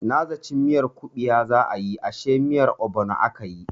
Na zaci miyar kubewa za a yi ashe miyar obono akayi.